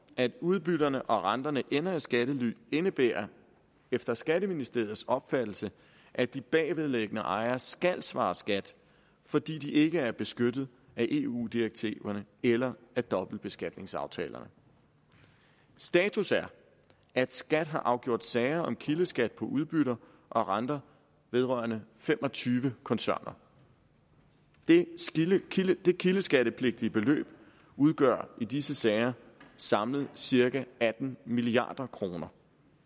at udbytterne og renterne ender i skattely indebærer efter skatteministeriets opfattelse at de bagvedliggende ejere skal svare skat fordi de ikke er beskyttet af eu direktiverne eller af dobbeltbeskatningsaftalerne status er at skat har afgjort sager om kildeskat på udbytter og renter vedrørende fem og tyve koncerner det kildeskattepligtige beløb udgør i disse sager samlet cirka atten milliard kroner